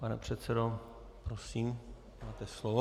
Pane předsedo, prosím máte slovo.